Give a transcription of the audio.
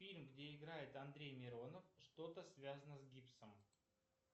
фильм где играет андрей миронов что то связано с гипсом